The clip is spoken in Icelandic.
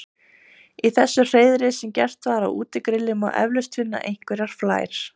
Í þessu hreiðri sem gert var á útigrilli má eflaust finna einhverjar flær.